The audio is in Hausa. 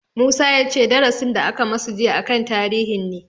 Musa ya ce darasin da aka masu jiya a kan tarihin ne